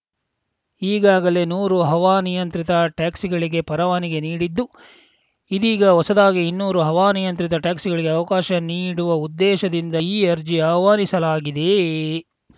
ಈಗಾಗಲೇ ನೂರು ಹವಾನಿಯಂತ್ರಿತ ಟ್ಯಾಕ್ಸಿಗಳಿಗೆ ಪರವಾನಗಿ ನೀಡಿದ್ದು ಇದೀಗ ಹೊಸದಾಗಿ ಇನ್ನೂರು ಹವಾನಿಯಂತ್ರಿತ ಟ್ಯಾಕ್ಸಿಗಳಿಗೆ ಅವಕಾಶ ನೀಡುವ ಉದ್ದೇಶದಿಂದ ಈ ಅರ್ಜಿ ಆಹ್ವಾನಿಸಲಾಗಿದೆ